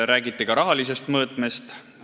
Räägiti ka rahalisest mõõtmest.